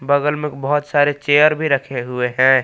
बगल में बहुत सारे चेयर भी रखे हुए हैं।